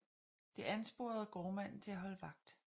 Det ansporede gårdmanden til at holde vagt